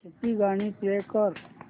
सूफी गाणी प्ले कर